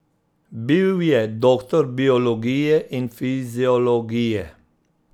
Bil je doktor biologije in fiziologije.